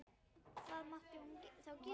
Hvað mátti hún þá gera?